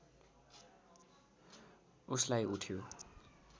उसलाई उठ्यो